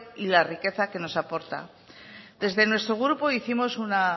y la riqueza que nos aporta desde nuestro grupo hicimos una